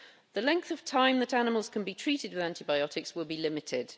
The length of time that animals can be treated with antibiotics will be limited.